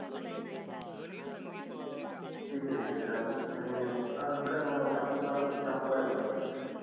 ठीक आहे ठीक आहे चालेल आणि अजून काय मला शॅम्पू लागत होते शॅम्पू आहे का आपल्या कडे